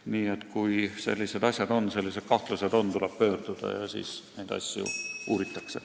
Nii et kui sellised kahtlused on, tuleb pöörduda ja siis neid asju uuritakse.